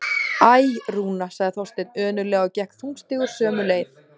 Æ, Rúna- sagði Þorsteinn önuglega og gekk þungstígur sömu leið.